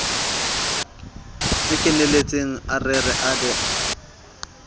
kenelletseng a rere a be